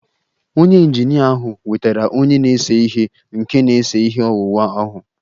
Onye injinia ahụ wetara onye na-ese ihe nke na-ese ihe owuwu ahụ